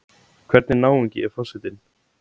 Hvernig náungi er forsetinn?